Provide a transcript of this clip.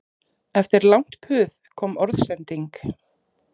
Eftir langt puð kom orðsending